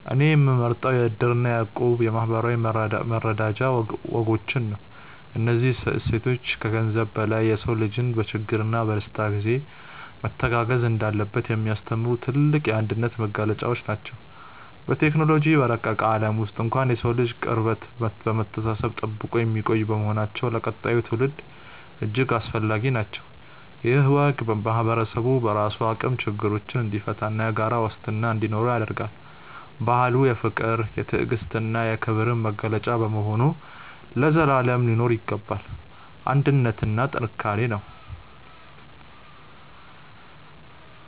እኔ የምመርጠው የ"እድር" እና የ"እቁብ" የማኅበራዊ መረዳጃ ወጎችን ነው። እነዚህ እሴቶች ከገንዘብ በላይ የሰው ልጅ በችግርና በደስታ ጊዜ መተጋገዝ እንዳለበት የሚያስተምሩ የጥልቅ አንድነት መገለጫዎች ናቸው። በቴክኖሎጂ በረቀቀ ዓለም ውስጥ እንኳን የሰውን ልጅ ቅርበትና መተሳሰብ ጠብቀው የሚቆዩ በመሆናቸው ለቀጣዩ ትውልድ እጅግ አስፈላጊ ናቸው። ይህ ወግ ማኅበረሰቡ በራሱ አቅም ችግሮችን እንዲፈታና የጋራ ዋስትና እንዲኖረው ያደርጋል። ባህሉ የፍቅር፣ የትዕግስትና የክብር መገለጫ በመሆኑ ለዘላለም ሊኖር ይገባል። አንድነት ጥንካሬ ነው።